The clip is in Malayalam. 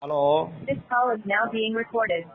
ഹലോ